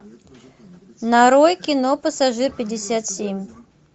нарой кино пассажир пятьдесят семь